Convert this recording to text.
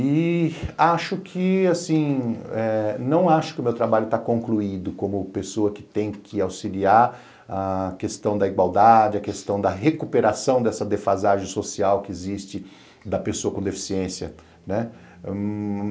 E acho que, assim, eh não acho que o meu trabalho está concluído como pessoa que tem que auxiliar a questão da igualdade, a questão da recuperação dessa defasagem social que existe da pessoa com deficiência.